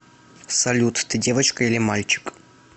салют ты девочка или мальчик